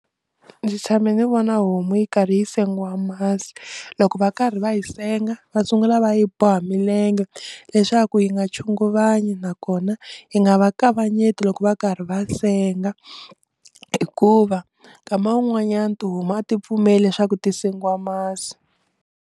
Ndzi tshame ndzi vona homu yi karhi yi sengiwa masi loko va karhi va yi senga va sungula va yi boha milenge leswaku yi nga chunguvanyi nakona yi nga va kavanyeti loko va karhi va senga hikuva nkama wun'wanyana ti huma a ti pfumeli leswaku ti sengiwa masi.